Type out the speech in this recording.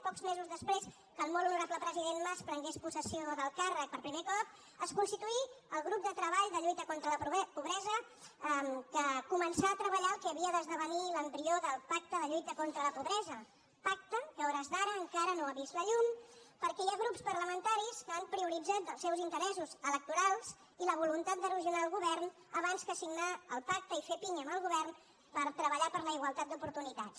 pocs mesos després que el molt honorable president mas prengués possessió del càrrec per primer cop es constituí el grup de treball de lluita contra la pobresa que començà a treballar el que havia d’esdevenir l’embrió del pacte per a la lluita contra la pobresa pacte que a hores d’ara encara no ha vist la llum perquè hi ha grups parlamentaris que han prioritzat els seus interessos electorals i la voluntat d’erosionar el govern abans que signar el pacte i fer pinya amb el govern per treballar per la igualtat d’oportunitats